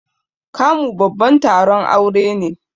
Kamu babban taron aure ne.